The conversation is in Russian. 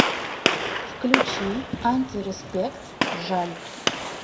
включи антиреспект жаль